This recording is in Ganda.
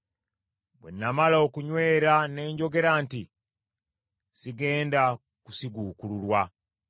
Bwe namala okunywera ne njogera nti, “Sigenda kusiguukululwa.”